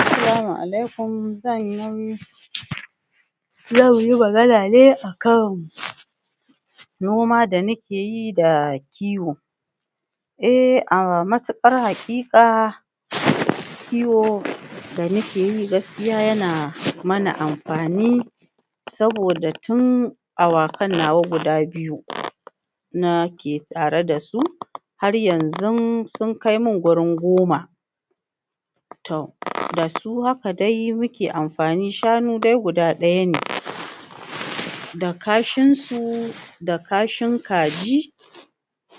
assalamu alaykum zanyi magana ne akan noma da muke yi da kiwo ehh a matikar hakika kiwo da nake yi gaskiya yana mana am fani saboda tun awakan nawa guda biyu nake tare dasu har yanzu sun kai min gurin goma toh dasu haka dai muke amfani shanu dai guda ɗaya ne da kashin su da kashin kaji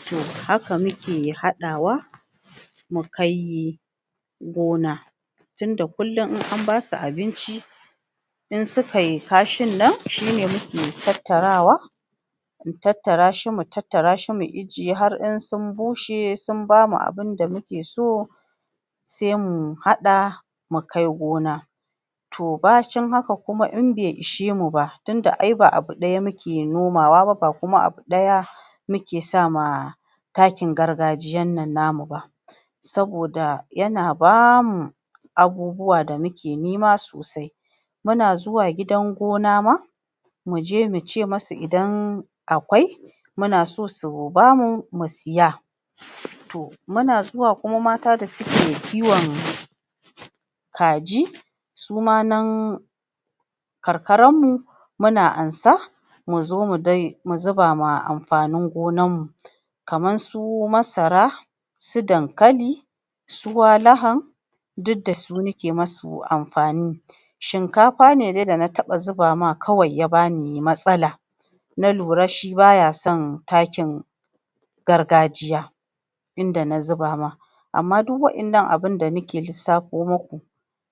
to haka muke haɗa wa mu kai gona tunda kullun in an basu abinci in sukai kashin nan shine muke tattarawa mu tattara shi mu tattara shi mu ijiye har in sun bushe sun bamu abunda muke so se mu haɗa mu kai gona to bacin haka kuma in bai ishe mu ba tunda ia ba abu ɗaya muke noma wa ba ba kuma abu ɗaya muke sama takin gargajiyan nan namu ba saboda yana bamu abubu wa da muke nema sosai muna zuwa gidan gona ma muje mu ce musu idan akwai muna so su bamu mu siya to muna zuwa kuma mata da suke kiwon kaji suma nan ka karan mu muna ansa mu zo mu zuba ma amfanin gonan mu kaman su masara su dankali su wa baha duk dasu muke musu amfani shikafa ne dai na taba zuba ma kawai ya bani matsala na lura shi baya son takin gargajiya inda na zuba ma amma duk wa 'yanan abunda nake lissafo muku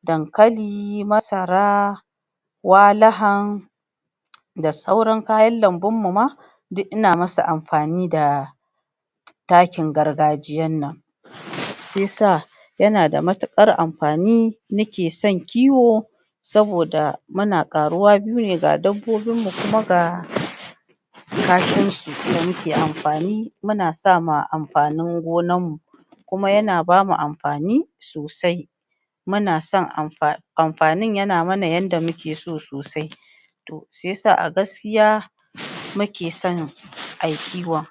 dankali masara walaha da sauran kayan lambun ma duk ina musu amfani da taki gargajiyan nan se yasa yanada matikar amfani nake son kiwo saboda muna ƙaruwa shine ga dabbobin mu kuma ga kashin su kuma muke amfani muna sama amfanin gonan mu kuma yana bamu amfani sosai muna san amfanin yana mana yanda muke so sosai se yasa a gaskiya muke san ayi kiwon